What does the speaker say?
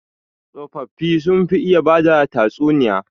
Tsofaffi sun fi iya bada tatsuniya.